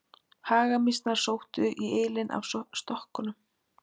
Hagamýsnar sóttu í ylinn af stokkunum.